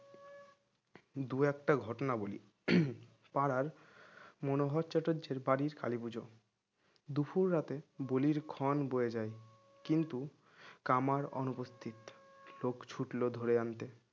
দু একটা ঘটনা বলি পাড়ার মনোহর চাতুর্যের বাড়ির কালীপুজো দুপুর রাতে বলির খন বোয়ে যায় কিন্তু কামার অনুপস্থিত লোক ছুটলো ধরে আনতে